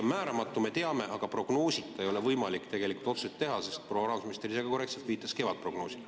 Me teame, et asi on määramatu, aga prognoosita ei ole tegelikult võimalik otsuseid teha, proua rahandusminister ise ka korrektselt viitas kevadprognoosile.